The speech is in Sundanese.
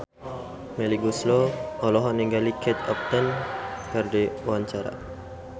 Melly Goeslaw olohok ningali Kate Upton keur diwawancara